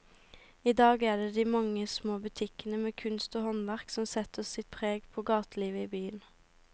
I dag er det de mange små butikkene med kunst og håndverk som setter sitt preg på gatelivet i byen.